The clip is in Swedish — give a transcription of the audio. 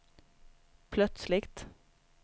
plötsligt